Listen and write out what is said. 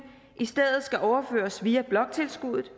i stedet skal overføres via bloktilskuddet